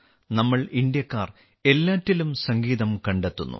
നമ്മൾ ഇന്ത്യക്കാർ എല്ലാറ്റിലും സംഗീതം കണ്ടെത്തുന്നു